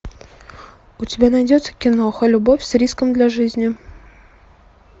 у тебя найдется киноха любовь с риском для жизни